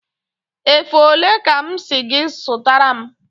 Efe ole ka m si gị zụtara m?